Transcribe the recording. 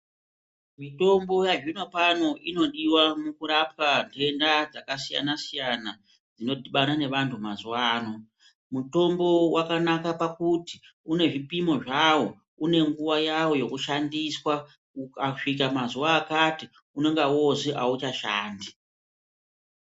Mitombo yazvino pano inodiwa mukurapwa ntenda dzakasiyana siyana dzino dhibana nevantu mazuwa ano. Mutombo wakanaka pakuti une zvipimo zvawo une nguwa yawo yekushandiswa ukasvika mazuwa akati unonga woozwi auchashandi.